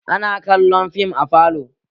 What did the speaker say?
Ina kallon fim a falo